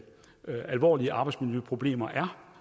alvorlige arbejdsmiljøproblemer